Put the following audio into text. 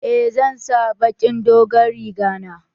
Eh zan sa baƙin dogon riga na